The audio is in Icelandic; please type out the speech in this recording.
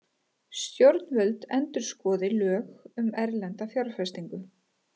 Stjórnvöld endurskoði lög um erlenda fjárfestingu